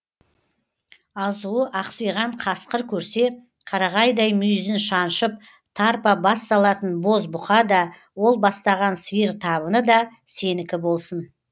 азуы ақсиған қасқыр көрсе қарағайдай мүйізін шаншып тарпа бас салатын боз бұқа да ол бастаған сиыр табыны да сенікі болсын